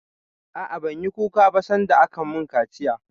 A'a, ban yi kuka ba sanda aka mun kaciya